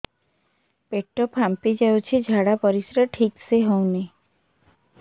ପେଟ ଫାମ୍ପି ଯାଉଛି ଝାଡ଼ା ପରିସ୍ରା ଠିକ ସେ ହଉନି